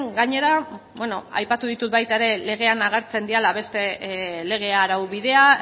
gainera beno aipatu ditut baita ere legean agertzen direla beste lege araubidea